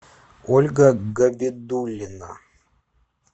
ольга габидуллина